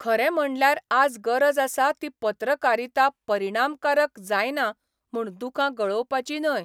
खरें म्हणल्यार आज गरज आसा ती पत्रकारिता परिणामकारक जायना म्हूण दुखां गळोवपाची न्हय.